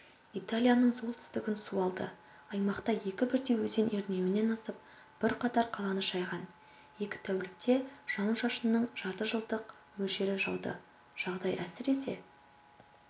италияның солтүстігін су алды аймақта екі бірдей өзен ернеуінен асып бірқатар қаланы шайған екі тәулікте жауын-шашынның жартыжылдық мөлшері жауды жағдай әсіресе